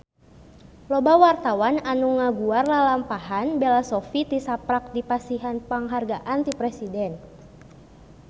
Loba wartawan anu ngaguar lalampahan Bella Shofie tisaprak dipasihan panghargaan ti Presiden